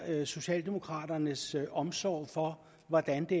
socialdemokraternes omsorg for hvordan vi